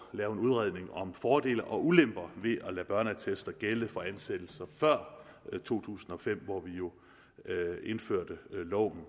lave en udredning om fordele og ulemper ved at lade børneattester gælde for ansættelser før to tusind og fem hvor vi jo indførte loven